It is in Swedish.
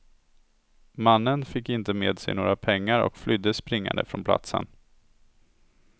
Mannen fick inte med sig några pengar och flydde springande från platsen.